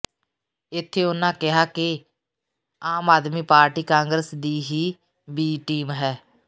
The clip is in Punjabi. ਇੱਥੇ ਉਨ੍ਹਾਂ ਕਿਹਾ ਕਿ ਆਮ ਆਦਮੀ ਪਾਰਟੀ ਕਾਂਗਰਸ ਦੀ ਹੀ ਬੀ ਟੀਮ ਹੈ